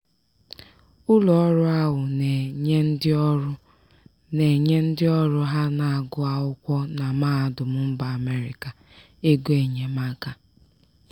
ụlọọrụ ahụ na-enye ndịọrụ na-enye ndịọrụ ha na-agụ akwụkwọ na mahadum mba amerika egoenyemaka.